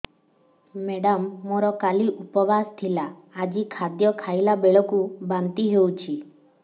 madam ମୋର କାଲି ଉପବାସ ଥିଲା ଆଜି ଖାଦ୍ୟ ଖାଇଲା ବେଳକୁ ବାନ୍ତି ହେଊଛି